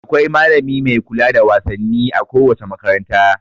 Akwai malami mai kula da wasanni a kowace makaranta.